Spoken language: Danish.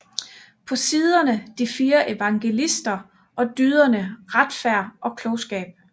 På siderne de fire evangelister og dyderne Retfærd og Klogskab